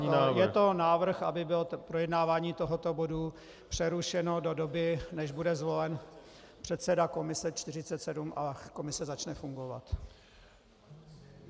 To znamená, je to návrh, aby bylo projednávání tohoto bodu přerušeno do doby, než bude zvolen předseda komise 47 a komise začne fungovat.